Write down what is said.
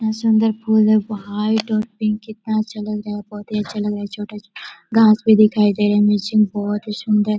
बहोत सुन्दर फूल वाइट और पिंक कितना अच्छा लग रहा है बहोत ही अच्छा लग रहा है. छोटा-छोटा घास भी दिखाई दे रहे है मैचिंग बहोत ही सुन्दर--